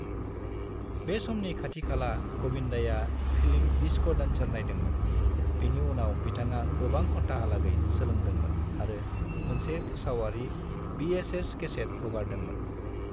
बे समनि खाथि-खाला, गविंदाया फिल्म डिस्क' डान्सार नायदोंमोन, बिनि उनाव बिथाङा गोबां घन्टाहालागै सोलोंदोंमोन आरो मोनसे फोसावारि वीएचएस केसेट हगारदोंमोन।